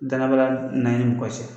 Danaya baliya na i ni mɔgɔ cɛ.